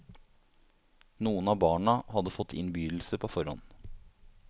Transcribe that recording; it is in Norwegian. Noen av barna hadde fått innbydelse på forhånd.